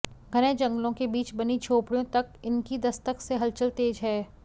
घने जंगलों के बीच बनी झोपड़ियों तक इनकी दस्तक से हलचल तेज है